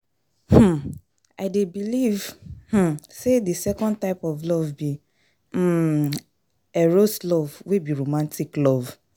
um I dey believe um say di second type of love be um Eros love wey be romantic love.